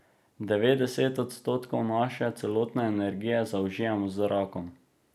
Devetdeset odstotkov naše celotne energije zaužijemo z zrakom.